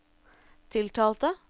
tiltalte